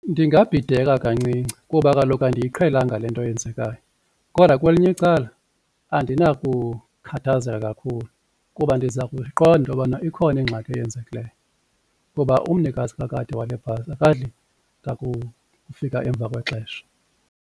Ndingabhideka kancinci kuba kaloku andiyiqhelanga le nto yenzekayo kodwa kwelinye icala andinako ukukhathazeka kakhulu kuba ndiza kuyiqonda intobana ikhona ingxaki eyenzekileyo kuba umnikazi kakade wale bhasi akadli ngakufika emva kwexesha.